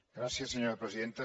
gràcies senyora presidenta